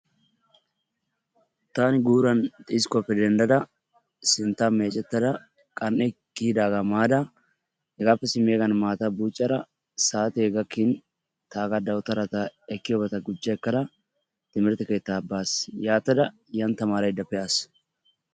taani guuran xiskkuwappe denddada sinttaa meeccetada qan''e kiyyidaaga maada hegappe simmiyaagan maata buccada saate gakkin taaga dawutaara goochcha ekkada timmirtte keetta baas. yaatada yani taamaraydda pe'aas.